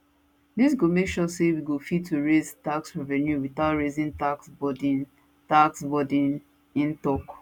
dis go make sure say we go fit to raise tax revenue without raising tax burden tax burden im tok